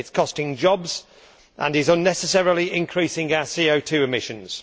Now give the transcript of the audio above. it is costing jobs and is unnecessarily increasing our CO emissions.